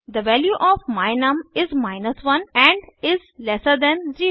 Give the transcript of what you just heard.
थे value of my num is 1 and is lesser than 0